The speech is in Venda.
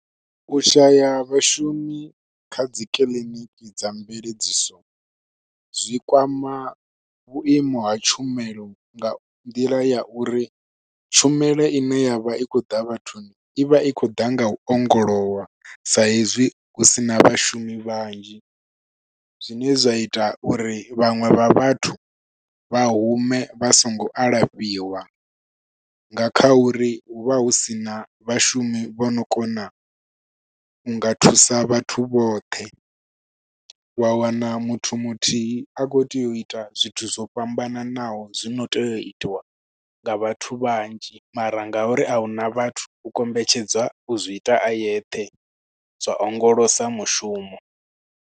U shaya vhashumi kha dzi kiḽiniki dza mveledziso zwi kwama vhuimo ha tshumelo nga nḓila ya uri, tshumelo ine ya vha i khou ḓa vhathuni i vha i khou ḓa nga u ongolowa, sa hezwi hu sina vhashumi vhanzhi. Zwine zwa ita uri vhaṅwe vha vhathu vha hume vha songo alafhiwa, nga kha uri hu vha hu sina vhashumi vho no kona u nga thusa vhathu vhoṱhe. Wa wana muthu muthihi a khou tea u ita zwithu zwo fhambananaho, zwino tea u itiwa nga vhathu vhanzhi mara nga uri a huna vhathu, u kombetshedzwa u zwi ita a yeṱhe zwa ongolosa mushumo.